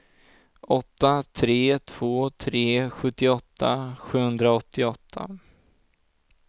åtta tre två tre sjuttioåtta sjuhundraåttioåtta